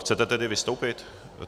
Chcete tedy vystoupit?